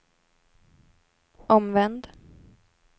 omvänd